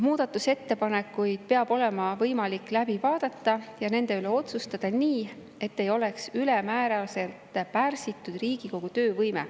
Muudatusettepanekuid peab olema võimalik läbi vaadata ja nende üle otsustada nii, et Riigikogu töövõime ei oleks ülemääraselt pärsitud.